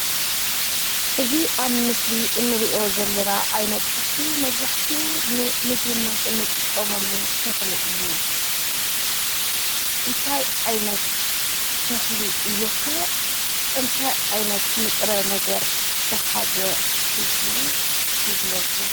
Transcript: እዚ ኣብ ምስሊ እንሪኦ ዘለና ዓይነት ተክሊ መብዛሕትኡ ንምግብነት እንጥቀመሉ ተክሊ እዩ፡፡ እንታይ ዓይነት ተክሊ እዩ ከ? እንታይ ዓይነት ንጥረ ነገር ዝሓዘ እዩ? ግለፁ?